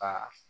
Aa